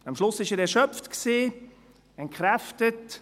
Am Schluss war er erschöpft und entkräftet.